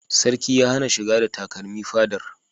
Sarki ya hana shiga da takarmi fadar